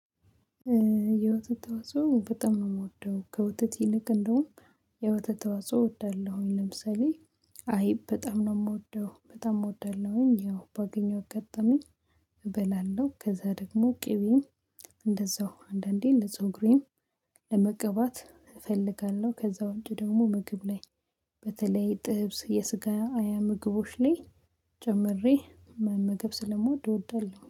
የወተት ተዋጽኦ በጣም ነው የምወደው ከወተቲ ይልቅ እንደውም የወተት ተዋጽኦ እወዳለሁኝ። ለምሳሌ አይብ በጣም ነው የምወደው በጣም እወዳለሁኝ። ያው በአገኘሁት አጋጣሚ እበላለሁ። ከዛ ደግሞ ቅቤም እንደዛው አንዳንዴ ለፀጉሬ ለመቀባት እፈልጋለሁ። ከዛ ውጪ ደግሞ ምግብ ላይ በተለይ ጥብስ የስጋ ምግቦች ላይ ጨምሬ መመገብ ስለምወድ እወዳለሁ